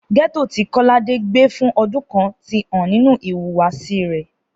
Gẹ́tò tí Kọ́ládé gbé fún ọdún kan ti hàn nínú ìhùwàsí rẹ̀